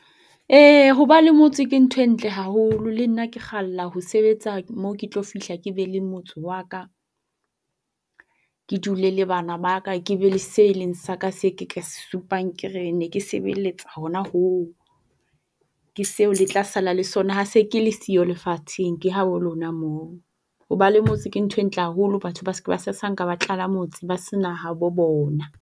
E, hoba le motse ke ntho e ntle haholo. Le nna ke kgalla ho sebetsa moo ke tlo fihla ke be le motse wa ka, ke dule le bana ba ka, ke be le se leng sa ka se ke ka se supang ke re, ne ke sebeletsa hona hoo. Ke seo le tla sala le sona ha se ke le siyo lefatsheng. Ke habo lona moo. Ho ba le motse ke ntho entle haholo. Batho ba se ke ba sasanka ba tlala motse ba sena ha bo bona.